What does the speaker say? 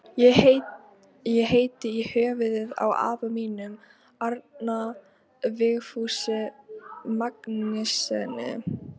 Ég heiti í höfuðið á afa mínum, Árna Vigfúsi Magnússyni.